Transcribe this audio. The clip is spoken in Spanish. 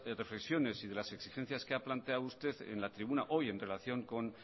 reflexiones y de las exigencias que ha planteado usted en la tribuna hoy en relación con